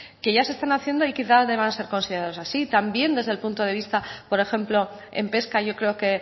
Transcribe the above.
que ya se están haciendo y quizá deban ser considerados así también desde el punto de vista por ejemplo en pesca yo creo que